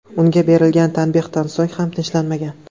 Unga berilgan tanbehdan so‘ng ham tinchlanmagan.